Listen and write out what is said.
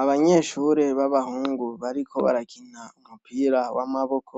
Abanyeshure b'abahungu bariko barakina umupira w'amaboko